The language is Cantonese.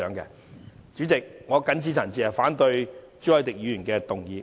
代理主席，我謹此陳辭，反對朱凱廸議員提出的議案。